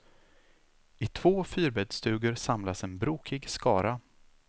I två fyrbäddsstugor samlas en brokig skara.